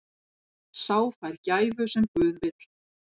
Sá fær gæfu sem guð vill.